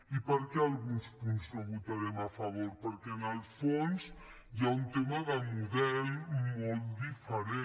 i per què a alguns punts no hi votarem favor perquè en el fons hi ha un tema de model molt diferent